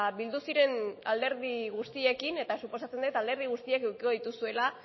bildu ziren alderdi guztiekin eta suposatzen dut alderdi guztiek edukiko dituzuela